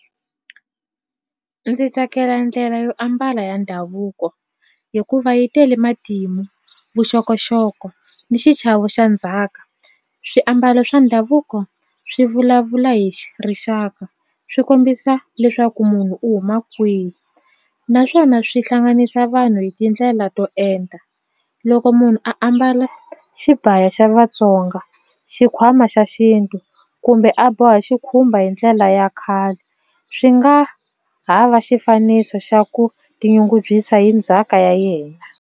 Ndzi tsakela ndlela yo ambala ya ndhavuko hikuva yi tele matimu vuxokoxoko ni xichavo xa ndzhaka swiambalo swa ndhavuko swi vulavula hi rixaka swi kombisa leswaku munhu u huma kwihi naswona swi hlanganisa vanhu hi tindlela to enta loko munhu a ambala xibaya xa Vatsonga xikhwama xa xintu kumbe a boha xikhumba hi ndlela ya khale swi nga ha va xifaniso xa ku tinyungubyisa hi ndzhaka ya yena.